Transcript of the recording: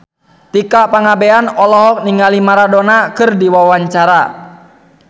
Tika Pangabean olohok ningali Maradona keur diwawancara